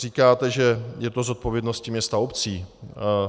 Říkáte, že je to zodpovědnost měst a obcí.